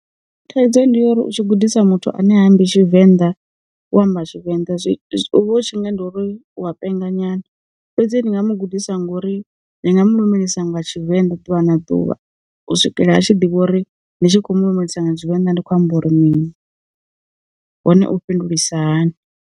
Thaidzo ndi ya uri u tshi gudisa muthu ane ha mmbi Tshivenḓa u amba Tshivenda, zwi zwi u vha u tshinga ndi uri uwa penga nyana, fhedzi ndi nga mu gudisa ngori ndi nga mu lumelisa nga Tshivenḓa ḓuvha na ḓuvha u swikela a tshi ḓivha uri ndi tshi kho mu lumelisa nga Tshivenḓa ndi khou amba uri mini hone u fhindulisa hani.